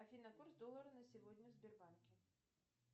афина курс доллара на сегодня в сбербанке